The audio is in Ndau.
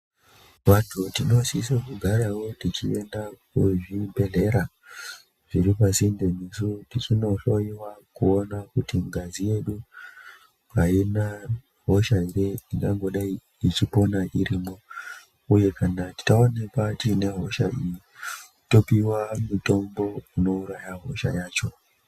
Vantu tinosise kugarawo techienda kuzvibhedhlera zviripasinte nesi tichinohloiwa kuona kuti ngazi yedu aina hosha ere ingangodai ichipona irimwo uye kana taonekwa tinehosha iyi topiwa mutombo unouraya hosha yacho.